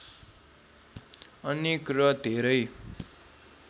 अनेक र धेरै